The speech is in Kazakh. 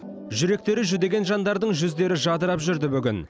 жүректері жүдеген жандардың жүздері жадырап жүрді бүгін